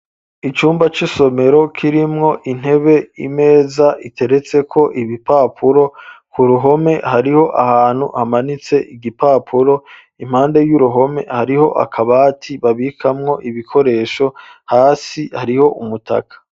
Icumba cisomero kirimwo intebe 'imeza iteretse ko ibipapuro ku ruhome hariho ahantu hamanitse igipapuro impande y'uruhome hariho akabati babikamwo ibikoresho hasi hariho umutaka.